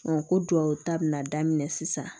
ko duwawu ta bɛna daminɛ sisan